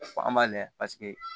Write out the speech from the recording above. Fɔ an b'a layɛ paseke